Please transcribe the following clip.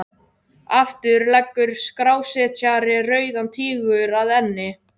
Aftur leggur skrásetjari Rauðan Tígur að enni.